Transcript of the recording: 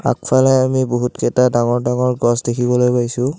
আগফালে আমি বহুতকেইটা ডাঙৰ ডাঙৰ গছ দেখিবলৈ পাইছোঁ।